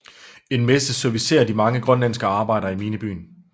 En messe servicerer de mange grønlandske arbejdere i minebyen